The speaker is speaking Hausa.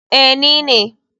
Ee, ni ne.